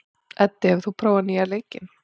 Eddi, hefur þú prófað nýja leikinn?